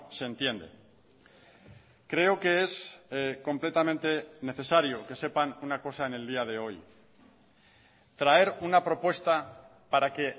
se entiende creo que es completamente necesario que sepan una cosa en el día de hoy traer una propuesta para que